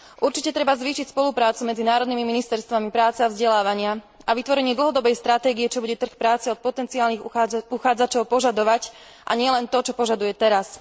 Určite treba zvýšiť spoluprácu medzi národnými ministerstvami práce a vzdelávania a vytvorenie dlhodobej stratégie, čo bude trh práce od potenciálnych uchádzačov požadovať, a nielen to, čo požaduje teraz.